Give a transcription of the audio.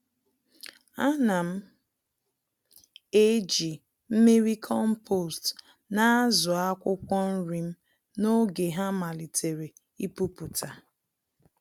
Ánám eji mmiri kompost na-àzụ akwụkwọ nrim n'oge ha malitere ipupụta